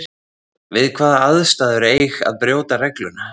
Við hvaða aðstæður eig að brjóta regluna?